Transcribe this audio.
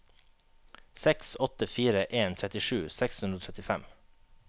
seks åtte fire en trettisju seks hundre og trettifem